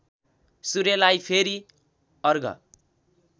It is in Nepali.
सूर्यलाई फेरि अर्घ